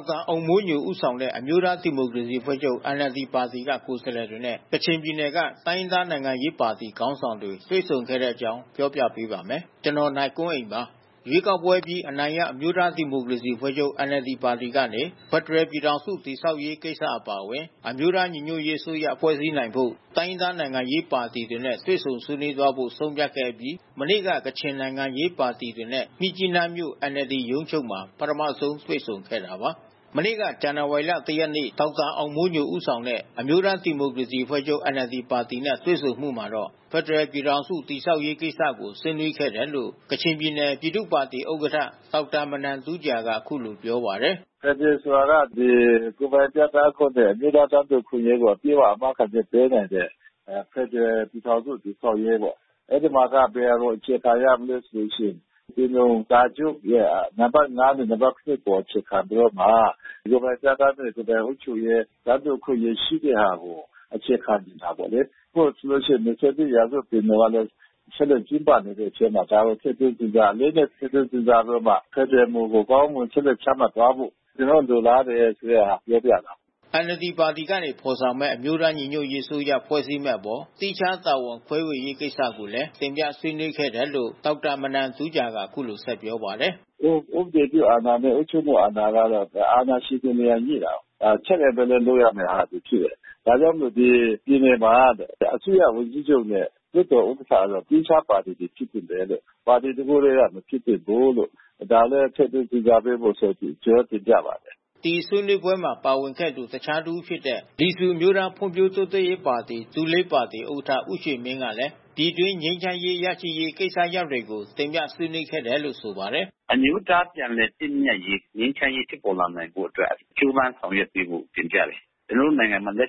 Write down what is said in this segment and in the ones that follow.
က်တာအောင်မိုးညို ဦးဆောင်တဲ့ အမျိုးသားဒီမိုကရေစီအဖွဲ့ချုပ် ပါတီက ကိုယ်စားလှယ်တွေနဲ့ ကချင်ပြည်နယ်က တိုင်းရင်းသား နိုင်ငံရေးပါတီ ခေါင်းဆောင်တွေ တွေ့ဆုံ ဆွေးနွေးခဲ့ကြပါတယ်။ အပြည့်အစုံကို နိုင်ကွန်းအိန် တင်ပြပေးထားပါတယ်။ ရွေးကောက်ပွဲအပြီး အနိုင်ရ အမျိုးသားဒီမိုကရေစီအဖွဲ့ချုပ် ပါတီကနေ ဖက်ဒရယ်ပြည်ထောင်စု တည်ဆောက်ရေးကိစ္စ အပါအဝင် အမျိုးသားညီညွတ်ရေးအစိုးရ ဖွဲ့စည်းနိုင်ဖို့ တိုင်းရင်းသား နိုင်ငံရေးပါတီတွေနဲ့ တွေ့ဆုံဆွေးနွေးသွားဖို့ ဆုံးဖြတ်ခဲ့အပြီး မနေ့က ကချင်နိုင်ငံရေးပါတီတွေနဲ့ မြစ်ကြီးနားမြို့ NLD ရုံးချုပ်မှာ ပထမဆုံး တွေ့ဆုံခဲ့တာပါ။ မနေ့ ဇန်နဝါရီလ ၁ ရက်နေ့က ဒေါက်တာအောင်မိုးညို ဦးဆောင်တဲ့ အမျိုးသားဒီမိုကရေစီအဖွဲ့ချုပ် ပါတီနဲ့ တွေ့ဆုံမှုမှာတော့ ဖက်ဒရယ်ပြည်ထောင်စု တည်ဆောက်ရေးကိစ္စကို ဆွေးနွေးခဲ့တယ်လို့ ကချင်ပြည်နယ် ပြည်သူ့ပါတီဥက္ကဋ္ဌ ဒေါက်တာ မနမ်တူးဂျာက အခုလိုပြောပါတယ်။ “ဖက်ဒရယ်ဆိုတာက ဒီ ကိုယ်ပိုင်ပြဋ္ဌာန်းခွင့်နဲ့ အမျိုးသား တန်းတူအခွင့်အရေးကို အာမခံချက်ပေးနိုင်တဲ့ ဖက်ဒရယ်ပြည်ထောင်စု တည်ဆောက်ရေးပေါ့။ အဲဒီမှာက ဘယ်ဟာကို အခြေခံရမလဲဆိုရင် ပင်လုံစာချုပ်ရဲ့ နံပါတ် ၅ နဲ့ နံပါတ် ၇ အပေါ် အခြေခံပြီးတော့မှ ကိုယ်ပိုင်ပြဋ္ဌာန်းခွင့် ကိုယ်ပိုင်အုပ်ချုပ်ရေး တန်းတူအခွင့်အရေး ရှိတဲ့ဟာကို အခြေခံတာပေါ့လေ။ အခုဆိုလို့ရှိရင် ၂၁ ရာစုပင်လုံကလည်း ဆက်လက်ကျင်းပနေတဲ့အထဲမှာ ဒါတွေ ထည့်သွင်းစဉ်းစား အလေးအနက် ထည့်သွင်းစဉ်းစားပြီးတော့မှ ဖက်ဒရယ်မူကို ကောင်းကောင်းမွန်မွန် ဆက်လက်ချမှတ်သွားဖို့ ကျနော်တို့ လိုလားတယ်ဆိုတဲ့ဟာ ပြောပြတယ်။” NLD ပါတီကနေ ဖော်ဆောင်မယ့် အမျိုးသားညီညွတ်ရေးအစိုးရ ဖွဲ့စည်းမယ့်အပေါ် သီးခြား တာဝန်ခွဲဝေရေးကိစ္စကိုလည်း တင်ပြဆွေးနွေးခဲ့တယ်လို့ ဒေါက်တာ မနမ်တူးဂျာက အခုလိုပြောပါတယ်။ “ကျနော်တို့ ဥပဒေပြုအာဏာနဲ့ အုပ်ချုပ်မှုအာဏာက အာဏာချိန်ခွင် ညှိတာကိုး။ ဒါ Check and Balance လုပ်ရမယ့်ဟာတွေ ဖြစ်တယ်။ ဒါကြောင့်မို့လို့ ဒီပြည်နယ်မှာ အစိုးရဝန်ကြီးချုပ်နဲ့ လွှတ်တော်ဥက္ကဋ္ဌက သီးခြားပါတီတွေ ဖြစ်သင့်တယ်။ ပါတီတခုတည်းက မဖြစ်သင့်ဘူးလို့။ ဒါလည်း ထည့်သွင်းစဉ်းစားပေးဖို့ ကျနော်တို့ တင်ပြပါတယ်။” ဒီဆွေးနွေးပွဲမှာ ပါဝင်ခဲ့သူ တခြားတဦးဖြစ်တဲ့ လီဆူအမျိုးသားဖွံ့ဖြိုးတိုးတက်ရေးပါတီ ဥက္ကဋ္ဌ ဦးရွှေမင်းကလည်း ပြည်တွင်းငြိမ်းချမ်းရေး ရရှိရေး ကိစ္စရပ်တွေကို ဆွေးနွေးတင်ပြခဲ့တယ်လို့ ဆိုပါတယ်။ “အမျိုးသားပြန်လည်သင့်မြတ်ရေး ငြိမ်းချမ်းရေး ဖြစ်ပေါ်လာနိုင်ဖို့အတွက် ကြိုးပမ်းဆောင်ရွက်ပေးဖို့ တင်ပြတယ်။ ကျနော်တို့နိုင်ငံမှာ လို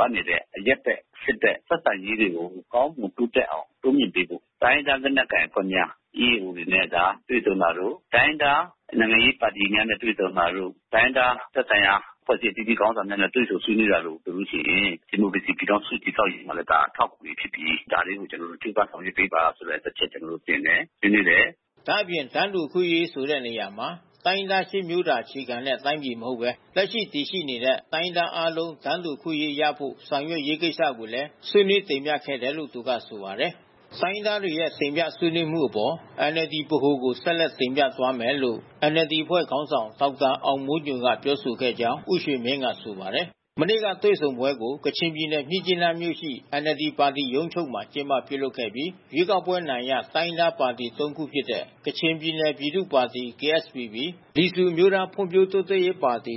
အပ်နေတဲ့ အရပ်ဘက် စစ်ဘက် ဆက်ဆံရေးတွေကို ကောင်းမွန်တိုးတက်အောင် တိုးမြှင့်ပေးဖို့။ တိုင်းရင်းသားလက်နက်ကိုင်အဖွဲ့များ EAO တွေနဲ့ တွေ့ဆုံတာတို့ တိုင်းရင်းသား နိုင်ငံရေးပါတီများနဲ့ တွေ့ဆုံတာတို့ တိုင်းရင်းသား သက်ဆိုင်ရာ အဖွဲ့အစည်း အသီးသီးက ခေါင်းဆောင်တွေနဲ့ တွေ့ဆုံတာတို့ ဆိုလို့ရှိရင် ဒီမိုကရေစီပြည်ထောင်စု တည်ဆောက်ရေးမှာ ဒါ အထောက်အကူဖြစ်စေတယ်။ ဒါလေးကို ကျနော်တို့ ကြိုးစားဆောင်ရွက်ပေးပါဆိုတဲ့ အချက်ကို ကျနော်တို့ တင်တယ်၊ ဆွေးနွေးတယ်။” ဒါ့အပြင် တန်းတူအခွင့်အရေး ဆိုတဲ့နေရာမှာ တိုင်းရင်းသား ၈ မျိုးသာ အခြေခံတဲ့တိုင်းပြည် မဟုတ်ဘဲ လက်ရှိတည်ရှိနေတဲ့ တိုင်းရင်းသားအားလုံး တန်းတူအခွင့်အရေးရဖို့ ဆောင်ရွက်နိုင်ရေး ကိစ္စကိုလည်း ဆွေးနွေးတင်ပြခဲ့တယ်လို့ သူကဆိုပါတယ်။ တိုင်းရင်းသားတွေရဲ့ တင်ပြဆွေးနွေးမှုအပေါ် NLD ဗဟိုကို ဆက်လက်တင်ပြသွားမယ်လို့ NLD အဖွဲ့ခေါင်းဆောင် ဒေါက်တာ အောင်မိုးညိုက ပြောဆိုခဲ့ကြောင်း ဦးရွှေမင်းက ဆိုပါတယ်။ မနေ့ကတွေ့ဆုံပွဲကို ကချင်ပြည်နယ် မြစ်ကြီးနားမြို့ရှိ NLD ပါတီ ရုံးချုပ်မှာ ကျင်းပပြုလုပ်ခဲ့ကြပြီး ရွေးကောက်ပွဲအနိုင်ရ တိုင်းရင်းသားပါတီ ၃ ခုဖြစ်တဲ့ ကချင်ပြည်နယ်ပြည်သူ့ပါတီ ၊ လီဆူအမျိုးသားဖွံ့ဖြိုးတိုးတက်ရေးပါတီ ၊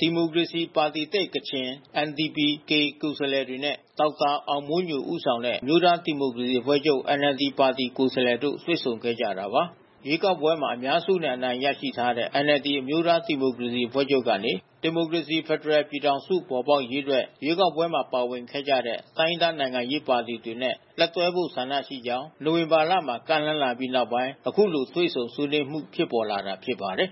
ဒီမိုကရေစီပါတီသစ် ကိုယ်စားလှယ်တွေနဲ့ ဒေါက်တာ အောင်မိုးညို ဦးဆောင်တဲ့ အမျိုးသားဒီမိုကရေစီအဖွဲ့ချုပ် NLD ပါတီ ကိုယ်စားလှယ်တို့ တွေ့ဆုံခဲ့ကြတာပါ။ ရွေးကောက်ပွဲမှာ အများစုနဲ့ အနိုင်ရထားတဲ့ NLD အမျိုးသားဒီမိုကရေစီအဖွဲ့ချုပ်ကနေ ဒီမိုကရေစီ ဖက်ဒရယ်ပြည်ထောင်စု ပေါ်ပေါက်ရေးအတွက် ရွေးကောက်ပွဲမှာ ပါဝင်ခဲ့ကြတဲ့ တိုင်းရင်းသား နိုင်ငံရေးပါတီတွေနဲ့ လက်တွဲဖို့ ဆန္ဒရှိကြောင်း နိုဝင်ဘာလမှာ ကမ်းလှမ်းလာပြီးနောက်ပိုင်း အခုလို တွေ့ဆုံဆွေးနွေးမှု ဖြစ်ပေါ်လာတာ ဖြစ်ပါတယ်